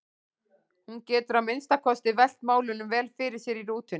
Hún getur að minnsta kosti velt málunum vel fyrir sér í rútunni.